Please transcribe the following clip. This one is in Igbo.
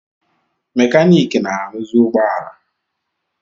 Mekaniki na-aruzi ụgbọ ala.